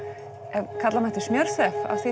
ef kalla mætti smjörþef af því